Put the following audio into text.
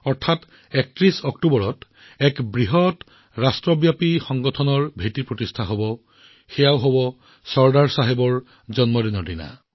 মাত্ৰ দুদিন পিছত ৩১ অক্টোবৰত এটা বিশাল দেশজোৰা সংগঠনৰ ভেটি স্থাপন কৰা হৈছে আৰু সেয়াও চৰ্দাৰ চাহাবৰ জয়ন্তীত